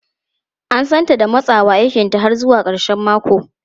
An santa da matsawa aikinta har zuwa karshen mako.